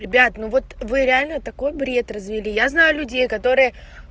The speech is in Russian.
ребят ну вот вы реально такой бред развели я знаю людей которые